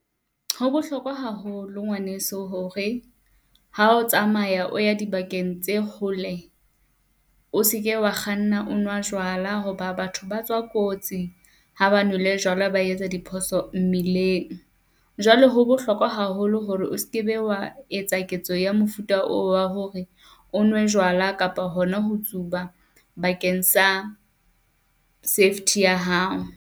Ho bohlokwa haholo ngwaneso hore ha o tsamaya o ya dibakeng tse hole, o seke wa kganna o nwa jwala hoba batho ba tswa kotsi ha ba nwele jwala, ba etsa diphoso mmileng. Jwale ho bohlokwa haholo hore o sekebe, wa etsa ketso ya mofuta oo wa hore o nwe jwala kapa hona ho tsuba bakeng sa safety ya hao.